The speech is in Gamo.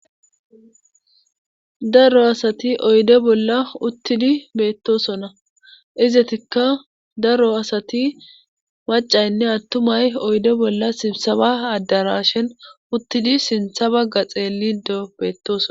daro asati oyde bolla uttidi beettosona izetikka daro asati macaynne attumay oyde bolla simsaba addarashin uttidi sintha bagga xeelido beettoson